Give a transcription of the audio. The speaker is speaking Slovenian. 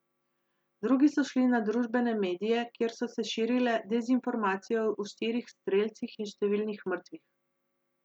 Drugi so šli na družbene medije, kjer so se širile dezinformacije o štirih strelcih in številnih mrtvih.